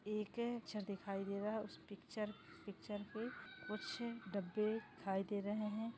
ये के पिक्चर दिखाई दे रहा है उस पिक्चर पिक्चर के कुछ डब्बे दिखाई दे रहे है।